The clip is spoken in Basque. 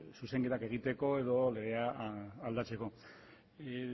zuzenketa egiteko edo legea aldatzeko